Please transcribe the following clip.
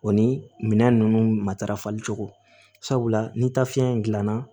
O ni minɛn ninnu matarafali cogo sabula ni taa fiɲɛ in dilanna